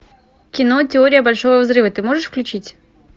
кино теория большого взрыва ты можешь включить